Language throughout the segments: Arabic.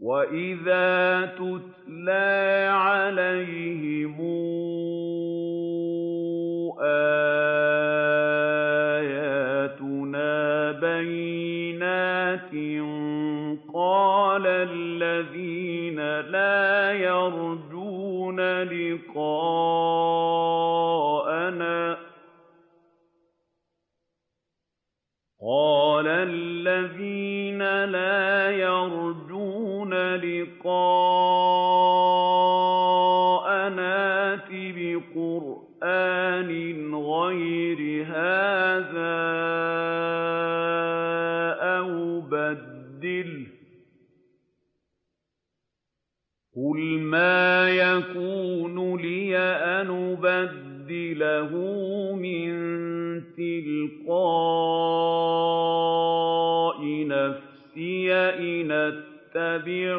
وَإِذَا تُتْلَىٰ عَلَيْهِمْ آيَاتُنَا بَيِّنَاتٍ ۙ قَالَ الَّذِينَ لَا يَرْجُونَ لِقَاءَنَا ائْتِ بِقُرْآنٍ غَيْرِ هَٰذَا أَوْ بَدِّلْهُ ۚ قُلْ مَا يَكُونُ لِي أَنْ أُبَدِّلَهُ مِن تِلْقَاءِ نَفْسِي ۖ إِنْ أَتَّبِعُ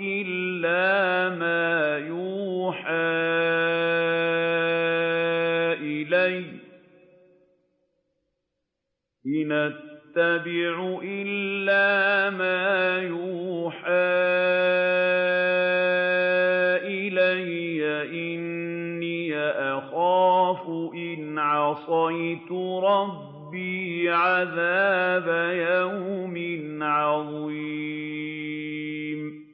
إِلَّا مَا يُوحَىٰ إِلَيَّ ۖ إِنِّي أَخَافُ إِنْ عَصَيْتُ رَبِّي عَذَابَ يَوْمٍ عَظِيمٍ